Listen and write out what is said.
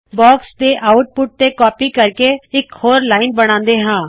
box ਦੇ output ਤੇ copy ਕਰੱਕੇ ਇਕ ਹੋਰ ਲਾਇਨ ਬਣਾਉਂਦੇ ਹਾ